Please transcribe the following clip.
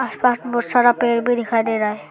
आसपास बहुत सारा पेड़ भी दिखाई दे रहा है।